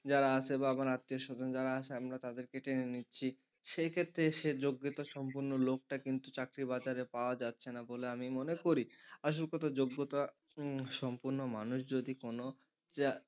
যারা আছে বা আত্মীয়স্বজন যারা আছে আমরা তাদেরকে টেনে নিচ্ছি সেই ক্ষেত্রে সে যোগ্যতা সম্পন্ন লোকটা কিন্তু চাকরি বাজারে পাওয়া যাচ্ছে না বলে আমি মনে করি। আসল কথা যোগ্যতা সম্পন্ন মানুষ যদি কোনো,